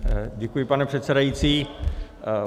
Děkuji, pane předsedající.